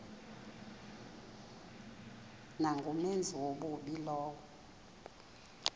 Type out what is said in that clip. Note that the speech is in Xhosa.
nangumenzi wobubi lowo